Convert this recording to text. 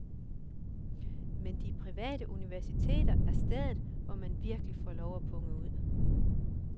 Men de private universiteter er stedet, man virkelig får lov at punge ud.